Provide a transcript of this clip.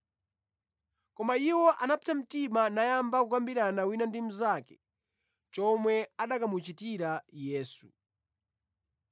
Koma iwo anapsa mtima nayamba kukambirana wina ndi mnzake chomwe akanamuchitira Yesu.